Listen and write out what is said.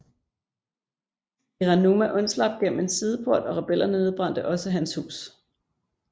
Hiranuma undslap gennem en sideport og rebellerne nedbrændte også hans hus